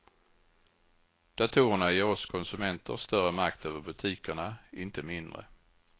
Datorerna ger oss konsumenter större makt över butikerna, inte mindre.